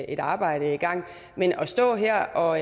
et arbejde i gang men at stå her og